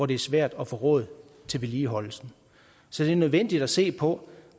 det er svært at få råd til vedligeholdelse så det er nødvendigt at se på